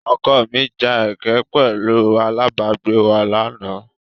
Ọkọ mi ja ẹkẹ pẹ̀lú alábàágbé wa lánàá.